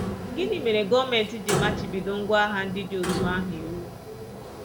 Gịnị mere gọọmenti ji machibido ngwá agha ndị dị otú ahụ iwu?